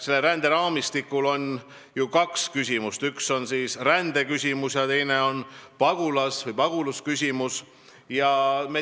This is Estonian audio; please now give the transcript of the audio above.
Selle teemaga on ju seotud kaks küsimust: üks on rändeküsimus ja teine on pagulusküsimus.